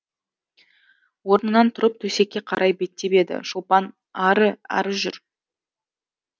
орнынан тұрып төсекке қарай беттеп еді шолпан ары ары жүр